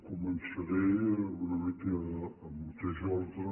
començaré una mica en el mateix ordre